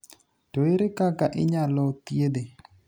To ere kaka inyalo thiedhe?